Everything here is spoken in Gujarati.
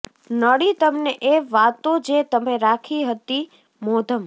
નડી તમને એ વાતો જે તમે રાખી હતી મોઘમ